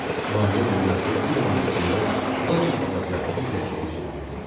Maliyyə dünyası bir anın içində bambalaca bir ləkəyə çevrilirdi.